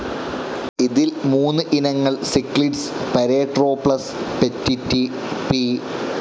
ഇതിൽ മൂന്ന് ഇനങ്ങൾ സിക്ലിഡ്സ്, പരേട്രോപ്ലസ് പെറ്റിറ്റി, പി.